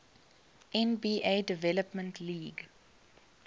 nba development league